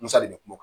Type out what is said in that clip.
Misali de bɛ kuma